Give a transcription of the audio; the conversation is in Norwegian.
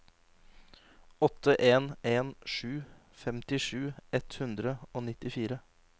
åtte en en sju femtisju ett hundre og nittifire